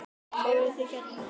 Fóruð þið hérna?